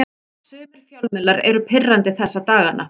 Sumir fjölmiðlar eru pirrandi þessa dagana.